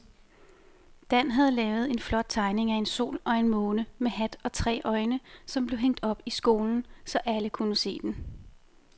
Dan havde lavet en flot tegning af en sol og en måne med hat og tre øjne, som blev hængt op i skolen, så alle kunne se den.